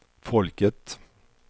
folket